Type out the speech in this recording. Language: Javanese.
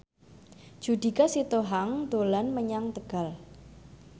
Judika Sitohang dolan menyang Tegal